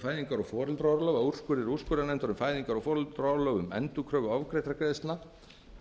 fæðingar og foreldraorlof að úrskurðir úrskurðarnefndar um fæðingar og foreldraorlof um endurkröfu ofgreiddra greiðslna